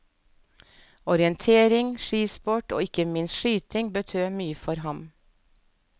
Orientering, skisport og ikke minst skyting betød mye for ham.